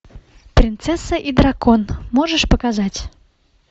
принцесса и дракон можешь показать